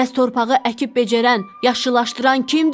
Bəs torpağı əkib becərən, yaşıllaşdıran kimdir?